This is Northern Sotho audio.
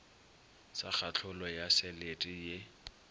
sa kahlolo ya selete ye